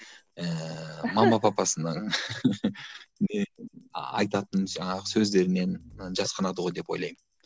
ііі мама папасының не айтатын жаңағы сөздерінен і жасқанады ғой деп ойлаймын